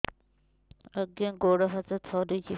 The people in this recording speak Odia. ଆଜ୍ଞା ଗୋଡ଼ ହାତ ଥରୁଛି